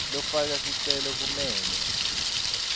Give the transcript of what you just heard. lofaka sicelo kumele